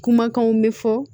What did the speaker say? Kumakanw bɛ fɔ